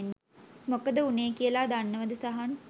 මොකද වුනේ කියලා දන්නවද සහන්?